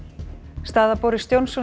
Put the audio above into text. staða Boris Johnsons